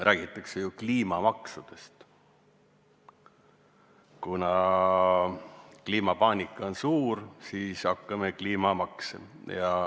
Räägitakse kliimamaksudest: kuna kliimapaanika on suur, siis hakkame kehtestama kliimamakse.